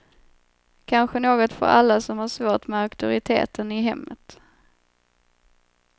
Kanske något för alla som har svårt med auktoriteten i hemmet.